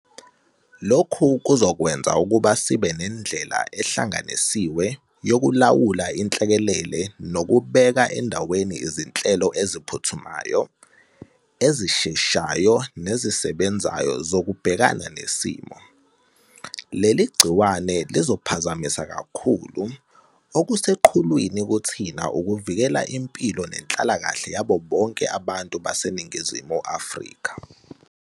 Lokhu kuzokwenza ukuba sibe nendlela ehlanganisiwe yokulawula inhlekelele nokubeka endaweni izinhlelo eziphuthumayo, ezisheshayo nezisebenzayo zokubhekana nesimo. Leli gciwane lizophazamisa kakhulu, okuseqhulwini kuthina ukuvikela impilo nenhlalakahle yabo bonke abantu baseNingizimu Afrika.